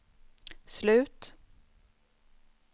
slut